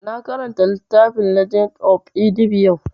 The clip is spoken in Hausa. Na karanta littafin legend of Inigɓi yau